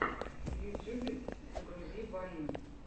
в ютьюбе загрузи вайны